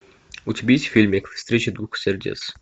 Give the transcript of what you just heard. у тебя есть фильмик встреча двух сердец